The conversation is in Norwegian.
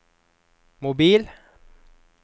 mobil